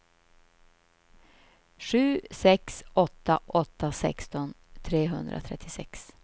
sju sex åtta åtta sexton trehundratrettiosex